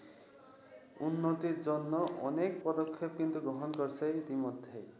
উন্নতির জন্য কিন্তু অনেক পদক্ষেপ গ্রহণ করেছে ইতিমধ্যে।